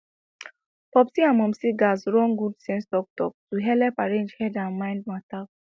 popsi and momsi gatz run good sense talktalk to helep arrange head and mind matter